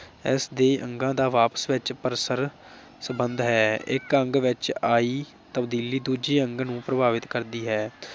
ਇਸ ਦੇ ਅੰਗਾਂ ਦਾ ਆਪਸ ਵਿਚ ਪਰਸਪਰ ਸੰਬੰਧ ਹੈ। ਇਕ ਅੰਗ ਵਿਚ ਆਈ ਤਬਦੀਲੀ ਦੂਜੇ ਅੰਗ ਨੂੰ ਪ੍ਰਭਾਵਿਤ ਕਰਦੀ ਹੈ।